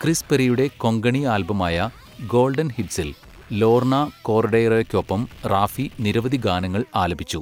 Chris പെറിയുടെ കൊങ്കണി ആൽബമായ Golden ഹിറ്റ്സിൽ, ലോർണ കോർഡെയ്റോയ്ക്കൊപ്പം റാഫി നിരവധി ഗാനങ്ങൾ ആലപിച്ചു.